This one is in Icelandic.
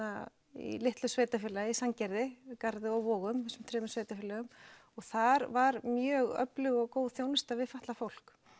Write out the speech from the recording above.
í litlu sveitarfélagi í Sandgerði Garði og Vogum þessum þremur sveitarfélögum og þar var mjög öflug og góð þjónusta við fatlað fólk